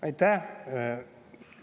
Aitäh!